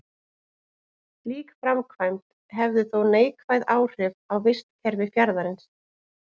Slík framkvæmd hefði þó neikvæð áhrif á vistkerfi fjarðarins.